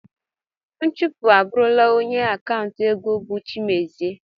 Nchụpụ abụrụla onye akanta ego bụ Chiemezie.